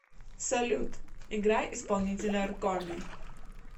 салют играй исполнителя ркоми